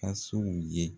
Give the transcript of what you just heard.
Fasow ye